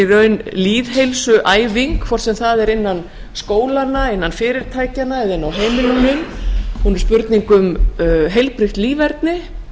raun lýðheilsuæfing hvort sem það er innan skólanna innan fyrirtækjanna eða inni á heimilunum hún er spurning um heilbrigt líferni